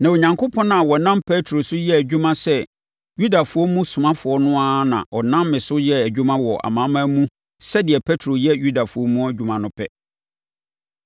Na Onyankopɔn a ɔnam Petro so yɛ adwuma sɛ Yudafoɔ mu somafoɔ no ara na ɔnam me so yɛ adwuma wɔ amanamanmufoɔ mu sɛdeɛ Petro yɛ Yudafoɔ mu adwuma no pɛ.